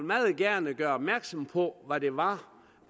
meget gerne gøre opmærksom på hvad det var